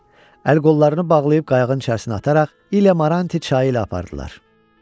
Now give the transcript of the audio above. Əl-qollarını bağlayıb qayığın içərisinə ataraq İliyən çayı ilə apardılar.